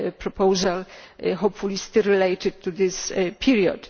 another proposal, hopefully still related to this period.